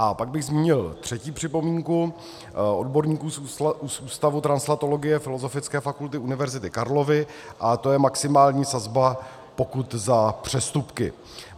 A pak bych zmínil třetí připomínku odborníků z Ústavu translatologie Filozofické fakulty Univerzity Karlovy, a to je maximální sazba pokut za přestupky.